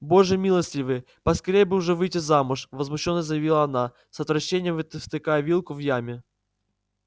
боже милостивый поскорее бы уж выйти замуж возмущённо заявила она с отвращением втыкая вилку в яме